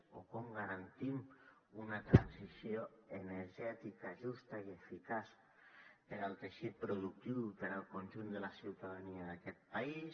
o com garantim una transició energètica justa i eficaç per al teixit productiu i per al conjunt de la ciutadania d’aquest país